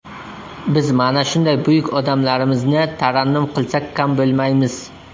Biz mana shunday buyuk odamlarimizni tarannum qilsak kam bo‘lmaymiz.